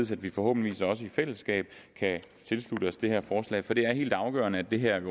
så vi forhåbentlig i fællesskab kan tilslutte os det her forslag for det er helt afgørende at det her i